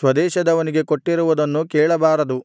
ಸ್ವದೇಶದವನಿಗೆ ಕೊಟ್ಟಿರುವುನ್ನು ಕೇಳಬಾರದು